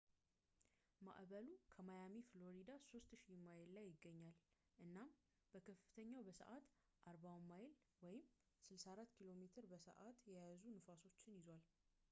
ማዕበሉ ከማያሚ፣ ፍሎሪዳ 3000 ማይል ላይ ይገኛል እናም በከፍተኛው በሰዓት 40ሚይል 64ኪ.ሜ በ ሰዓት የያዙ ንፋሶችን ይዟል